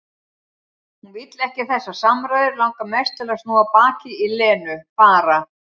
Hún vill ekki þessar samræður, langar mest til að snúa baki í Lenu, fara.